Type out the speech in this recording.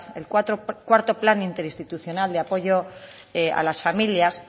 el cuarto plan interinstitucional de apoyo a las familias